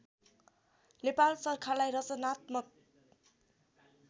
नेपाल सरकारलाई रचनात्मक